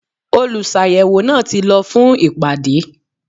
Olùsàyẹ̀wò náà ti lọ fún ìpàdé.